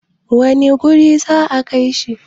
wane wuri za a Kai shi?